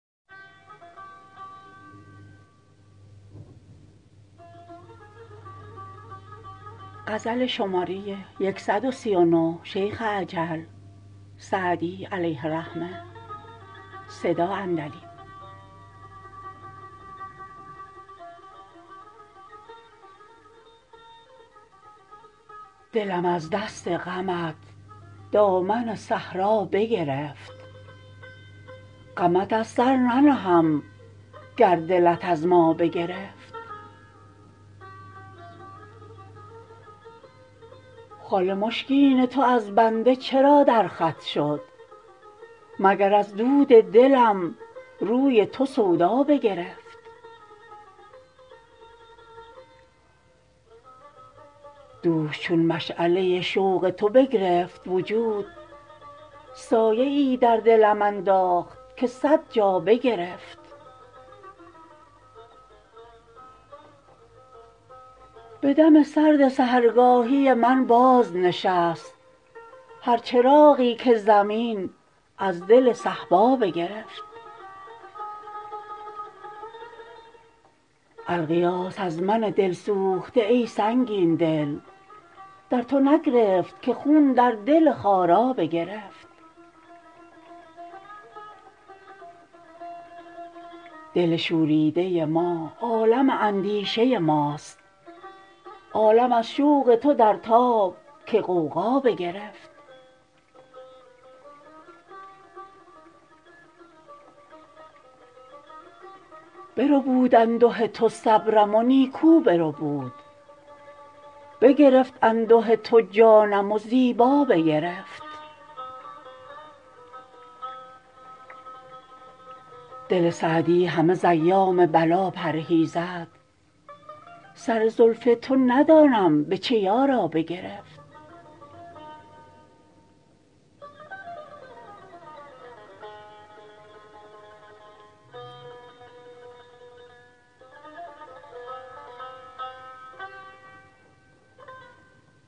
دلم از دست غمت دامن صحرا بگرفت غمت از سر ننهم گر دلت از ما بگرفت خال مشکین تو از بنده چرا در خط شد مگر از دود دلم روی تو سودا بگرفت دوش چون مشعله شوق تو بگرفت وجود سایه ای در دلم انداخت که صد جا بگرفت به دم سرد سحرگاهی من بازنشست هر چراغی که زمین از دل صهبا بگرفت الغیاث از من دل سوخته ای سنگین دل در تو نگرفت که خون در دل خارا بگرفت دل شوریده ما عالم اندیشه ماست عالم از شوق تو در تاب که غوغا بگرفت بربود انده تو صبرم و نیکو بربود بگرفت انده تو جانم و زیبا بگرفت دل سعدی همه ز ایام بلا پرهیزد سر زلف تو ندانم به چه یارا بگرفت